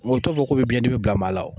Mɛ u t'u fɔ ko bɛ biɲɛdimi bila maa la